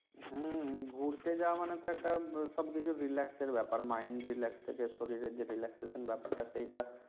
হম ঘুরতে যাওয়া মানে তো একটা সবকিছু relax এর ব্যপার Mind, relax সরিয়ে যে relaxation ব্যাপারটা